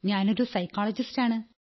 ഞാനൊരു സൈക്കോളജിസ്റ്റാണ്